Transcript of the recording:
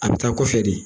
A bɛ taa kɔfɛ de